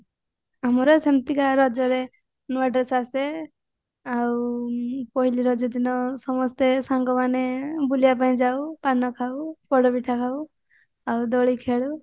ଆମର ସେମତିକା ରଜରେ ନୂଆ dress ଆସେ ଆଉ ପହିଲି ରଜ ଦିନ ସମସ୍ତେ ସାଙ୍ଗ ମାନେ ବୁଲିବା ପାଇଁ ଯାଉ ପାନ ଖାଉ ପୋଡା ପିଠା ଖାଉ ଆଉ ଦୋଳି ଖେଳୁ